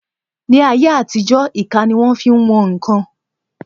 Ní ayé àtijó, ìka ni wón fi ń wọn ǹkan